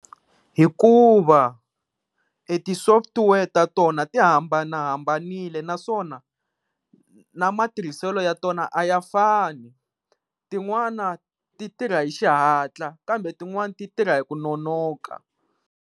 Hikuva ti software ta tona ti hambanahambanile naswona na matirhiselo ya tona a ya fani, tin'wana ti tirha hi xihatla kambe tin'wana ti tirha hi ku nonoka.